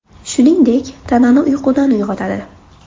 Shuningdek, tanani uyqudan uyg‘otadi.